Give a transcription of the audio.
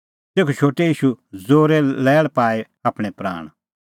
तेखअ शोटै ईशू ज़ोरै लैल़ पाई आपणैं प्राण